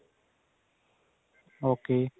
okay